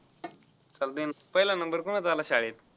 चालतय पहिला number कोणाचा आला शाळेत.